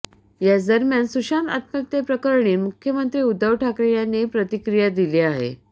याच दरम्यान सुशांत आत्महत्येप्रकरणी मुख्यमंत्री उद्धव ठाकरे यांनी प्रतिक्रिया दिली आहे